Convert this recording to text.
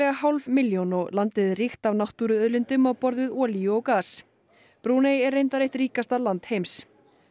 hálf milljón og landið er ríkt af náttúruauðlindum á borð við olíu og gas Brúnei er reyndar eitt ríkasta land heims